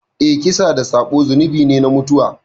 Eh, kisa da sabo zunubi ne na mutuwa.